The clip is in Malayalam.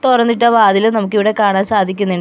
തുറന്നിട്ട വാതിലും നമുക്കിവിടെ കാണാൻ സാധിക്കുന്നിണ്ട്.